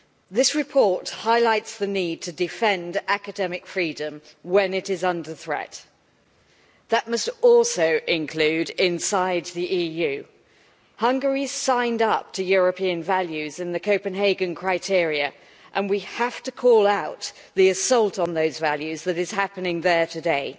This report highlights the need to defend academic freedom when it is under threat. That must also include inside the EU. Hungary signed up to European values in the Copenhagen criteria, and we have to call out the assault on those values that is happening there today.